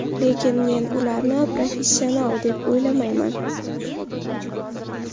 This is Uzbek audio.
Lekin men ularni professional deb o‘ylamayman.